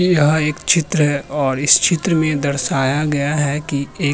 यह एक चित्र है और इस चित्र में दर्शाया गया है कि एक --